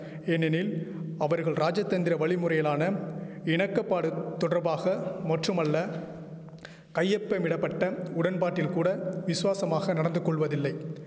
ஏனெனில் அவர்கள் ராஜதந்திர வழிமுறையிலான இணக்கபாடு தொடர்பாக மற்றுமல்ல கையெப்பமிடபட்ட உடன்பாட்டில் கூட விசுவாசமாக நடந்துகொள்வதில்லை